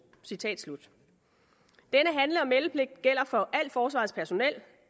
citat slut denne handle og meldepligt gælder for alt forsvarets personel